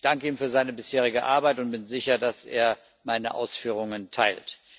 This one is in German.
Ich danke ihm für seine bisherige Arbeit und bin sicher, dass er meine Ausführungen teilt.